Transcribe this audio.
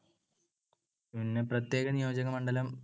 പിന്നെ പ്രത്യേക നിയോജകമണ്ഡലം